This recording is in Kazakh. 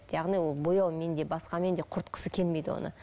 яғни ол бояумен де басқамен де құртқысы келмейді оны